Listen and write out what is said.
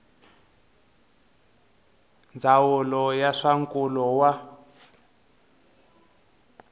ndzawulo ya swa nkulo wa